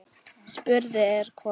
Spurt er hvort